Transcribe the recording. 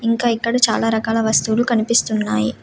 ఇంకా ఇక్కడ చాలా రకాల వస్తువులు కనిపిస్తున్నాయి.